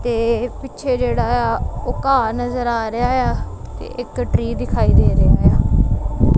ਤੇ ਪਿੱਛੇ ਜਿਹੜਾ ਉਹ ਘਾਹ ਨਜ਼ਰ ਆ ਰਿਹਾ ਏ ਆ ਤੇ ਇੱਕ ਟ੍ਰੀ ਦਿਖਾਈ ਦੇ ਰਿਹਾ ਏ ਆ।